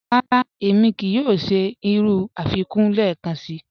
Rárá, émi kíí yòò ṣẹ̀ irú afikún lẹ́ẹ̀kànṣí.